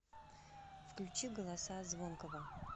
включи голоса звонкого